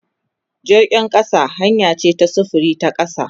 Jirgin kasa hanya ce ta sufuri ta kasa.